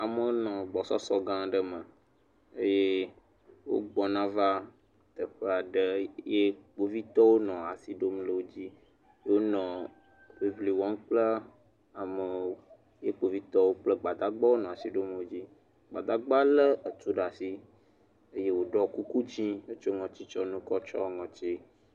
Amewo nɔ gbɔsɔsɔ gã aɖe me ye wogbɔna va teƒe aɖe eye kpovitɔwo nɔ asi ɖom wo dzi, wonɔ ŋiŋli wɔm ye kpovitɔwo nɔ asi ɖom wo dzi. Gbadagba lé tu ɖe asi, eye woɖɔ kuku dzɛ̃ hetsɔ ŋɔtitsiɔ nu kɔ tsiɔ ŋɔti.